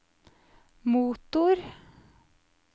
motor